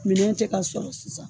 Minɛn tɛ ka sɔrɔ sisan.